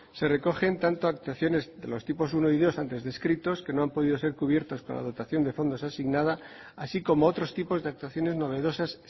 se recogen tanto actuaciones de los tipos uno y dos antes descritos que no han podido ser cubiertos por la dotación de fondos asignadas así como otros tipos de actuaciones novedosas